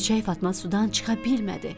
Göyçək Fatma sudan çıxa bilmədi.